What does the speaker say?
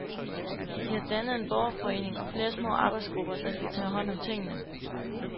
De har dannet en borgerforening og flere små arbejdsgrupper, der skal tage hånd om tingene.